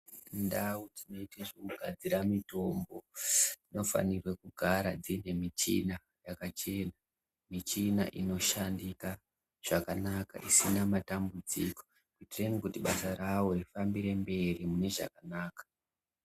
Ndau dzinoite zvekugadzire mutombo dzinofanirwe kugara dziine michina yakachena, michini inoshandika zvakanaka isina matambudziko inoita basa ravo rifambire mberi munezvakanaka.